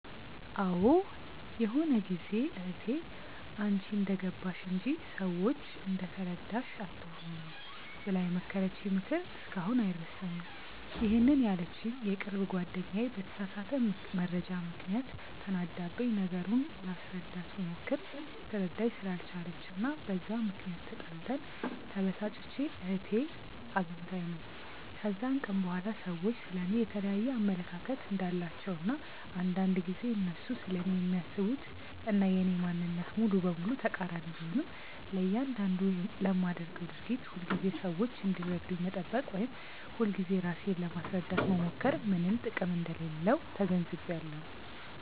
አዎ ይሆነ ጊዜ እህቴ "አንቺ እንደገባሽ እንጂ፤ ሰዎች እንደተረዳሽ አትኑሪ" ብላ የመከረችኝ ምክር እስካሁን አይረሳኝም፤ ይሄንን ያለችኝ የቅርብ ጓደኛዬ በተሳሳተ መረጃ ምክንያት ተናዳብኝ፤ ነገሩን ላስረዳት ብሞክር ልትረዳኝ ስላልቻለች እና በዛ ምክንያት ተጣልተን፤ ተበሳጭቼ እህቴ አግኝታኝ ነው። ከዛን ቀን በኋላ ሰዎች ስለ እኔ የየተለያየ አመለካከት እንዳላቸው እና አንዳንድ ጊዜ እነሱ ስለኔ የሚያስቡት እና የኔ ማንነት ሙሉ በሙሉ ተቃሪኒ ቢሆንም፤ ለያንዳንዱ ለማደርገው ድርጊት ሁልጊዜ ሰዎች እንዲረዱኝ መጠበቅ ወይም ሁልጊዜ ራሴን ለማስረዳት መሞከር ምንም ጥቅም እንደሌለው ተገንዝቢያለው።